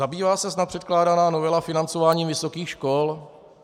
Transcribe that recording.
- Zabývá se snad předkládaná novela financováním vysokých škol?